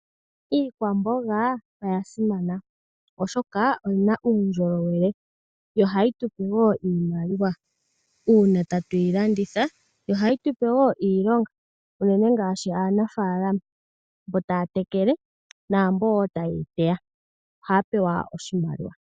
Iikwamboga oya simana, oshoka oyi na uundjolowele , yo ohayi tupe wo iimaliwa. Uuna tatu yi landitha ohayi tu pe woo iilonga, unene ngaashi aanafaalama mboka taya tekele, naambo wo ta yeyi teya, ohaya pewa oshimaliwa.